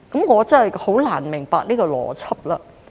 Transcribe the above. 我真是難以明白這個邏輯。